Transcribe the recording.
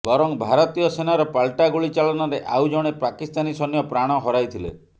ବରଂ ଭାରତୀୟ ସେନାର ପାଲଟା ଗୁଳି ଚାଳନାରେ ଆଉ ଜଣେ ପାକିସ୍ତାନୀ ସୈନ୍ୟ ପ୍ରାଣ ହରାଇଥିଲେ